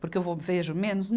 Porque eu vou, vejo menos?